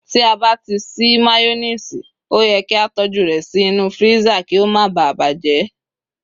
ti a ba ti sí mayonnaise, o ye ki a toju rẹ sí inú freezer ki o ma ba bajẹ